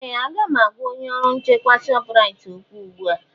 Ee! Aga m agwa onye ọrụ nchekwa Shọpraịt okwu ugbu a.